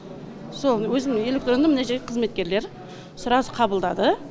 сол өзімнің электронный мына жерде қызметкерлер сразу қабылдады